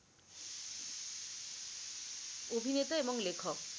অভিনেতা এবং লেখক